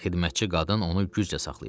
Xidmətçi qadın onu güclə saxlayırdı.